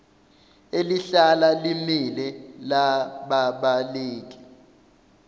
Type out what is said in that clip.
elihlala limile lababaleki